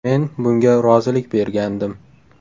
Men bunga rozilik bergandim.